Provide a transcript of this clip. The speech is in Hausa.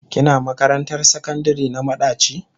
Kina makarantar sakandire na madaci?